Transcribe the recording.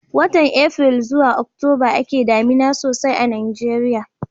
watan april zuwa October a ke damina sosai a najeriya